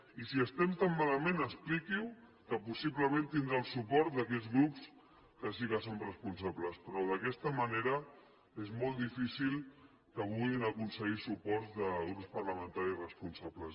i si estem tan malament expliquiho que possiblement tindrà el suport d’aquells grups que sí que som responsables però d’aquesta manera és molt difícil que puguin aconseguir suports de grups parlamentaris responsables